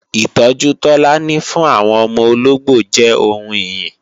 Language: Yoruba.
Ìtọ́jú Tọ́lání fún àwọn ọmọ ológbò jẹ́ ohun ìyìn